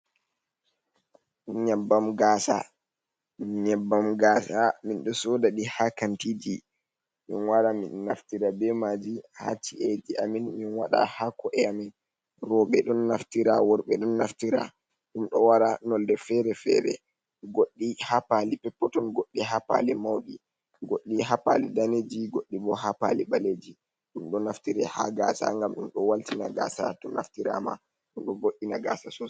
Nyebbam gaasa, nyebbam gaasa min ɗo sooda ɗi ha kantiiji, min wara min naftira be maaji ha ci’eji amin, min waɗa ha ko’e amin roɓe ɗon naftira, worɓe ɗon naftira, ɗum ɗo wara noonde fere-fere, goɗɗi ha paali peppeton, goɗɗi ha paali mauɗi, goɗɗi ha paali daneeji, goɗɗi bo ha paali ɓalleji. Ɗum ɗo naftire ha gaasa ngam ɗum ɗo waltina gaasa to naftiraama ɗum ɗo vo'ina gaasa soosai.